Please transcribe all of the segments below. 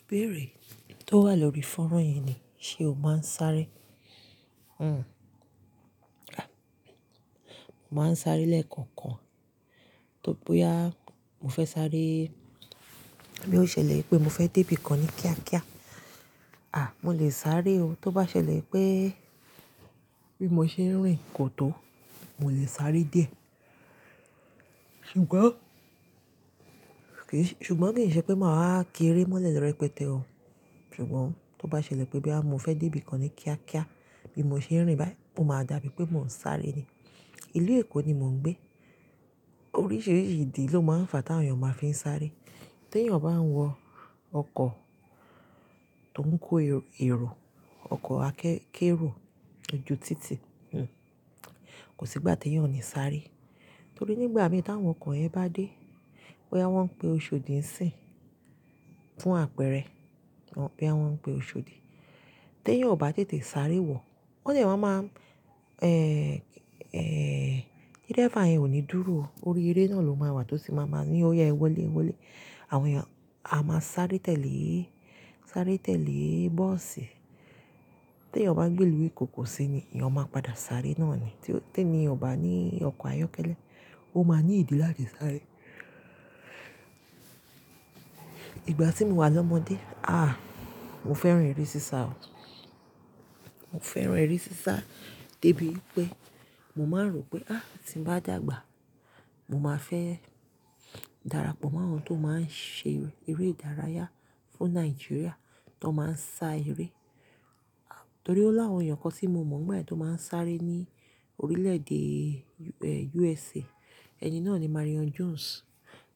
Ìbéèrè tó wà lórí fọ́nrán yẹn ni, ṣé o máa ń sáré? À, mo máa ń sáré lẹ́ẹ̀kọ̀kan. Tó bóyá mo fẹ́ sáré, bí ó ṣẹlẹ̀ pé mo fẹ́ dé ibi kan ní kíákíá, à, mo lè sáré o. Tó bá ṣẹlẹ̀ pé bí mo ṣe ń rìn kò tó, mo lè sáré díẹ̀. Ṣùgbọ́n ṣùgbọ́n ki n se pe ma wa ki ere mo le repete o ṣùgbọ́n tó bá ṣẹlẹ̀ pé bí à mo fẹ́ dé ibi kan ní kíákíá bí mo ṣe ń rìn báyìí, ó máa dàbí pé mò ń sáré ni. Ìlú Èkó ni mò ń gbé. Oríṣiríṣi ìdí ló máa ń fa tí àwọn èèyàn máa fi ń sáré. Tí èèyàn bá ń wọ ọkọ̀ tó ń kó èrò, ọkọ̀ akẹ́-kérò loju títì, hhm, kò sí gbá tí èèyàn ò ní sáré. Torí nígbà mìí tí àwọn ọkọ̀ yen bá dé, bóyá wọ́n ń pe oṣodi si n fún àpẹrẹ, boya won pe oshodi teyan o ba tètè sáré wo? Won de mama n ehn ehn driver yen o ni dúró o, orí ere na lo ma wa to ma ni oya e wọlé e wọlé àwọn èèyàn a máa sáré tẹ́lẹ̀, sáré tẹ́lẹ̀ bọ́ọ̀sì. Tí èèyàn bá gbé ìlú eko ko sí ni, eyan máa padà sáré náà ni. Tí ení yen o bá ní ọkọ̀ ayọ́kẹ́lẹ́, o máa ní ìdí láti sáré. Ìgbà tí mò wà lọ́mọdé, aà, mo fẹ́ràn eré sísá o. Mo fẹ́ràn eré sísá débi pé mò máa ń rò pé, "Aà, tí mo bá dàgbà, mò máa fẹ́" darapọ̀ mọ́ àwọn tó máa ń ṣe eré ìdárayá fún Nàìjíríà tó máa ń sá eré. À, torí ó láwọn èèyàn kan tí mo mọ̀ báyìí tó máa ń sáré ní orílẹ̀ èdè, eh, USA. Ẹni náà ni Marion Jones.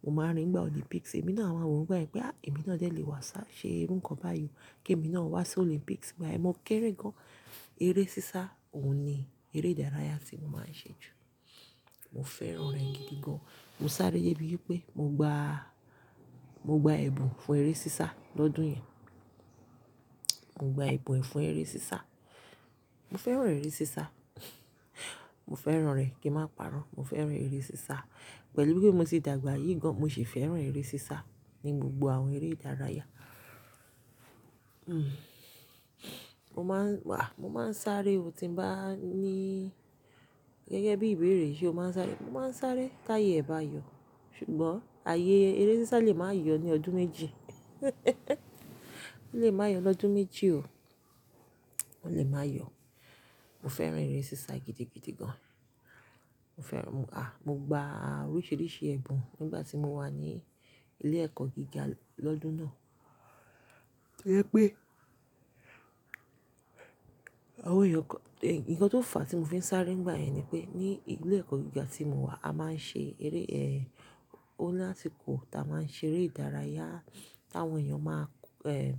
Mo máa ń rí i nígbà Olympics. Èmi náà a máa wò ó báyìí pé, "Aà, èmi náà jẹ́ lè wá ṣa-- ṣe irú nǹkan báyìí o, kí èmi náà wá sí Olympics." Igbayen mo kéré gan-an. Eré sísá òun ni eré ìdárayá tí mò máa ń ṣe jù. Mo fẹ́ràn rẹ̀ gidi gan. Mo sáré dé ibi pé mo gba, mo gba ẹ̀bùn fún eré sísá lọ́dún yẹn. Mo gba ẹ̀bùn fún eré sísá. Mo fẹ́ràn eré sísá. Mo fẹ́ràn rẹ̀ kí ń má parọ́. Mo fẹ́ràn eré sísá. Pẹ̀lú bí mo ṣe dàgbà yìí gan, mo sì fẹ́ràn eré sísá ní gbogbo àwọn eré ìdárayá. Hmm mo ma n aa mo ma sáré o. Ti n ba ni geegee bi ìbéèrè se o ma sáré mo ma sáré taye e ba yo ṣùgbọ́n ààyè eré sísá lè máa yọ ní ọdún méjì. Ó lè máa yọ lọ́dún méjì o. Ó lè máa yọ. Mo fẹ́ràn eré sísá gidigidi gan. Mo fẹ́ràn-- à, mo gba oríṣiríṣi ẹ̀bùn nígbà tí mo wà ní ilé ẹ̀kọ́ gíga lọ́dún náà. Ó yẹ pé àwọn èèyàn kàn-- è, nǹkan tó fà á tí mò fi ń sáré nígbà yẹn ni pé ní ilé ẹ̀kọ́ gíga tí mò wà, a máa ń ṣe eré, eh, o lásìkò táa máa ń ṣe eré ìdárayá tí àwọn èèyàn máa k-- eh,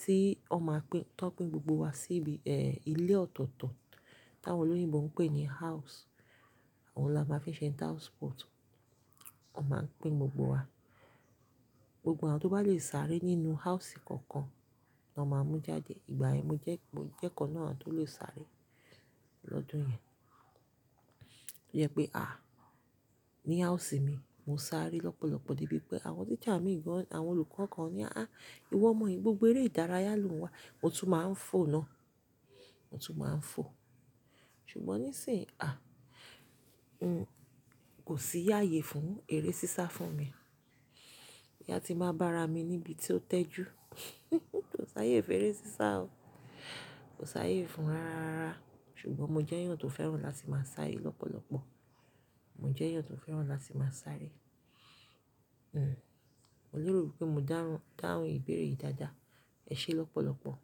tí ó máa pín, tó ń pín gbogbo wa sí ibi, eh, ilé ọ̀tọ̀ọ̀tọ̀ tí àwọn olóyìnbo ń pè ní house. Ohun la máa ń fi ṣe interhouse sport. Wọ́n máa pín gbogbo wa. Gbogbo àwọn tó bá lè sáré nínú house kankan ni wọ́n máa mú jáde. Ìgbà yẹn mo jẹ́, mo jẹ́ ikan nu àwọn tó lè sáré lọ́dún yẹn. Ó yẹ pé, à, ní house mi, mo sáré lọ́pọ̀lọpọ̀ débi pé àwọn teacher mi gan, àwọn olùkọ́ kan ni, "Aà, ìwọ omọ̀ yi, gbogbo eré ìdárayá ló ń wá." Mo tún máa ń fò náà. Mo tún máa ń fò. Ṣùgbọ́n níìsín, à, n kò sí ààyè fún eré sísá fún mi. Boya ti n ba bá ara mi níbi tí ó tẹ́jú. Kò sààyè fún eré sísá o. Kò sààyè fún rárárara ṣùgbọ́n mo jẹ́ èèyàn tó fẹ́ràn láti máa sáré lọ́pọ̀lọpọ̀. Mo jẹ́ èèyàn tó fẹ́ràn láti máa sáré. Hhm. Mo lérò pé mo dáhun, dáhùn ìbéèrè yìí dáadáa. Ẹ ṣé lọ́pọ̀lọpọ̀.